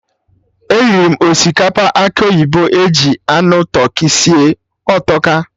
Eriri m osikapa akị oyibo eji anụ tụrkị sie, ọ tọka!